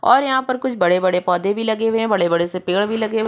और यहां पर कुछ बड़े-बड़े पौधे भी लगे हैं। बड़े-बड़े से पेड़ भी लगे हुए --